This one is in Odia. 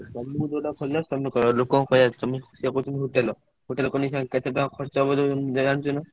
ତମକୁ ଯୋଉଟା ଭଲ ଲାଗୁଛି ତମେ କର ଲୋକ ଙ୍କ hotel । ଖୋଲି କେତେ ଟଙ୍କା ଖର୍ଚ୍ଚ ହବ ଜାଣିଛ ନା?